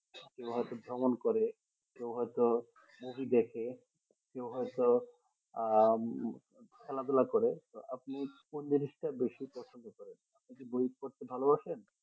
কেউ হয়তো ভ্রমণ করে কেউ হয়তো movie দেখে কেউ হয়তো আহ খেলাধুলা করে তো আপনি কোন জিনিসটা বেশি পছন্দ করেন আপনি কি বই পড়তে ভালোবাসেন।